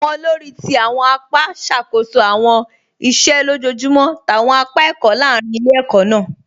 Awọn òlórí ti awọn àpá ṣakoso awọn ìṣẹ̀ lọ́jọjumọ̀ t'awọn àpá ẹkọ̀ lárìn ilẹ̀-ẹ̀kọ̀ náà.